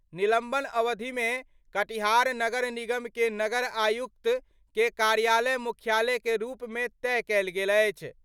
निलंबन अवधि मे कटिहार नगर निगम के नगर आयुक्त के कार्यालय मुख्यालय के रूप मे तय कयल गेल अछि।